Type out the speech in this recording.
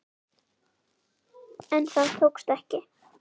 En það tókst ekki.